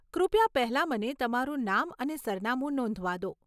કૃપયા પહેલાં મને તમારું નામ અને સરનામું નોંધવા દો.